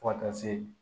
Fo ka taa se